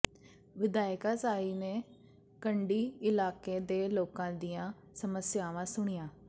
ਵਿਧਾਇਕਾ ਸਾਹੀ ਨੇ ਕੰਢੀ ਇਲਾਕੇ ਦੇ ਲੋਕਾਂ ਦੀਆਂ ਸਮੱਸਿਆਵਾਂ ਸੁਣੀਆਂ